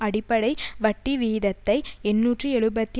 அடிப்படை வட்டிவீதத்தை எண்ணூற்று எழுபத்தி